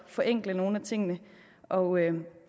forenkle nogle af tingene og